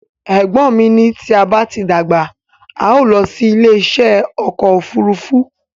Ẹ̀gbọ́n mi ní tí a bá dàgbà, a o lọ sí ilé isẹ́ ọkọ̀ òfúrúúfú